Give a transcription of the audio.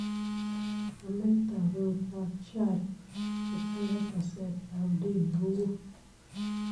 Nametab eut ab Sharia che tere saset ab dini kowoo